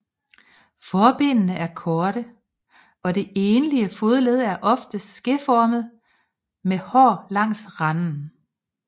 Forbenene er korte og det enlige fodled er ofte skeformet med hår langs randene